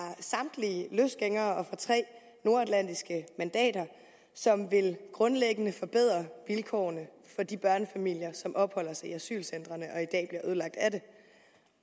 samtlige løsgængere og fra tre nordatlantiske mandater som grundlæggende vil forbedre vilkårene for de børnefamilier som opholder sig i asylcentrene og i dag bliver ødelagt af det